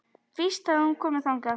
Víst hafði hún komið þangað.